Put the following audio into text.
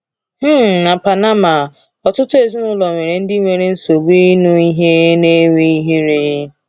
um Na Panama, ọtụtụ ezinụlọ nwere ndị nwere nsogbu ịnụ ihe na-enwe ihere.